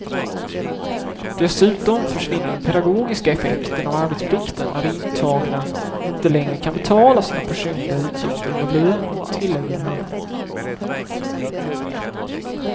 Dessutom försvinner den pedagogiska effekten av arbetsplikten, när de intagna inte längre kan betala sina personliga utgifter med lönen, tillägger han.